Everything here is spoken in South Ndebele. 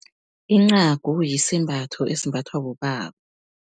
Incagu, yisembatho esimbathwa bobaba.